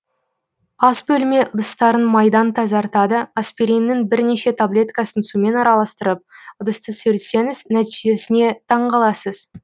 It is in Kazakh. ас бөлме ыдыстарын майдан тазартады аспириннің бірнеше таблеткасын сумен араластырып ыдысты сүртсеңіз нәтижесіне таңқаласыз